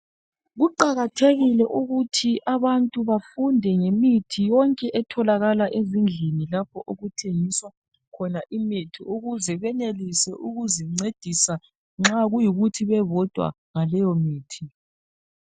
Kuqakathekile ukuthi abantu bafunde imithi yonke etholakala ezindlini lapho okuthengiswa khona imithi ukuze benelise ukuzincedisa nxa kuyikuthi bebodwa ngaleyo mithi